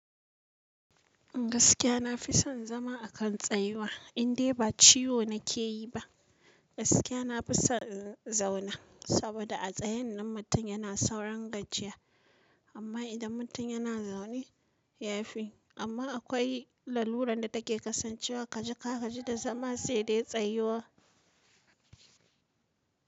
Gaskiya na fi son zama a kan tsayuwa, indai ba ciwo na ke yi ba. Gaskiya na fi son in zauna, saboda a tsayen nan mutum yana sauralin gajiya. Amma idan mutum yana zaune ya fi. Amma akwai lalurar da take kasancewa ka ji ka gaji da zama sai dai tsayuwa.